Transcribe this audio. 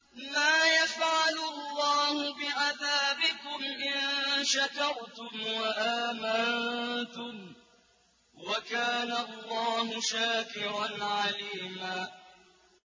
مَّا يَفْعَلُ اللَّهُ بِعَذَابِكُمْ إِن شَكَرْتُمْ وَآمَنتُمْ ۚ وَكَانَ اللَّهُ شَاكِرًا عَلِيمًا